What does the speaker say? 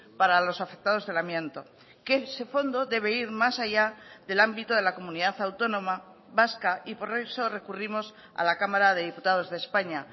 para los afectados del amianto que ese fondo debe ir más allá del ámbito de la comunidad autónoma vasca y por eso recurrimos a la cámara de diputados de españa